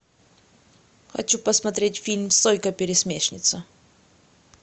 хочу посмотреть фильм сойка пересмешница